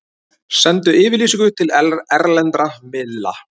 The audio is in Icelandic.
Sendu yfirlýsingu til erlendra miðla